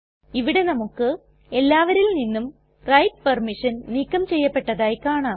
ഇവിടെ നമുക്ക് എല്ലാവരിൽ നിന്നും റൈറ്റ് പെർമിഷൻ നീക്കം ചെയ്യപ്പെട്ടതായി കാണാം